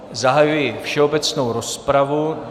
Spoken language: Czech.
Zahajuji všeobecnou rozpravu.